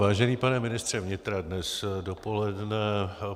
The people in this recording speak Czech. Vážený pane ministře vnitra, dnes dopoledne